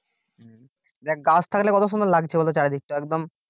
দেখ গাছ থাকলে কত সুন্দর লাগছে বলত চারিদিকটা একদম